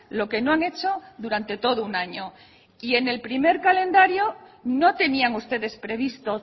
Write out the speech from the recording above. lo que no han hecho durante todo un año y en el primer calendario no tenían ustedes previsto